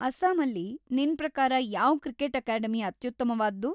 ಅಸ್ಸಾಮಲ್ಲಿ ನಿನ್‌ ಪ್ರಕಾರ ಯಾವ್ ಕ್ರಿಕೆಟ್‌ ಅಕಾಡೆಮಿ ಅತ್ಯುತ್ತಮ್ವಾದ್ದು?